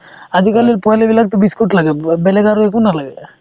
আজিকালিৰ পোৱালিবিলাকতো biscuit লাগে ব বেলেগ আৰু একো নালাগে